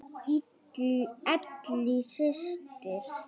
Ellý systir.